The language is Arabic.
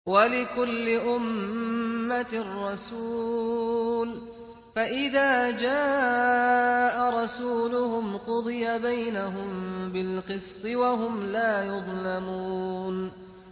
وَلِكُلِّ أُمَّةٍ رَّسُولٌ ۖ فَإِذَا جَاءَ رَسُولُهُمْ قُضِيَ بَيْنَهُم بِالْقِسْطِ وَهُمْ لَا يُظْلَمُونَ